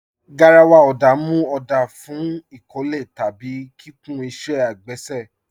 Garàwà ọ̀dá mú ọ̀dá fún ikọ̀lẹ̀ tàbí kíkùn ìṣẹ̀ agbèsè.